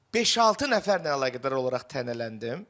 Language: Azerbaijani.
Beş-altı nəfərlə əlaqədar olaraq tənələndim.